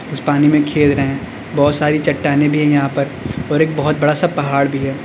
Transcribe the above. कुछ पानी में खेल रहे हैं बहोत सारी चट्टानें भी है यहां पर और पहाड़ भी है।